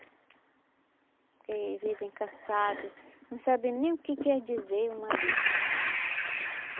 Porque vivem cansado, não sabem nem o que quer dizer uma Bíblia.